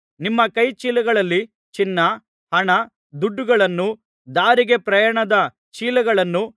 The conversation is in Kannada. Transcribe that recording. ನಿಮ್ಮ ಕೈ ಚೀಲಗಳಲ್ಲಿ ಚಿನ್ನ ಹಣ ದುಡ್ಡುಗಳನ್ನೂ ದಾರಿಗೆ ಪ್ರಯಾಣದ ಚೀಲಗಳನ್ನೂ